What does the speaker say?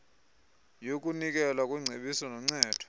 yokunikelwa kweengcebiso noncedo